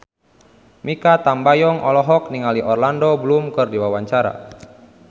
Mikha Tambayong olohok ningali Orlando Bloom keur diwawancara